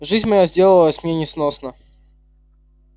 жизнь моя сделалась мне несносна